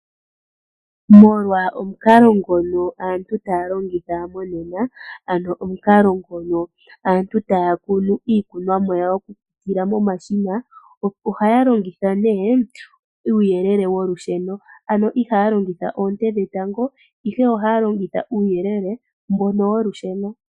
Molwa omukalo ngono aantu taya longitha monena, aano omukalo ngono aantu taya kunu iikunomwa yawo yokupitila momashina, ohaya longitha nee uuyelele wolusheno. Ano ihaya longitha oonte dhatango ihe ohaya longitha uuyelele wolusheno.